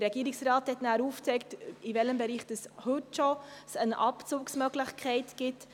Der Regierungsrat hat dann aufgezeigt, in welchem Bereich bereits heute eine Abzugsmöglichkeit besteht.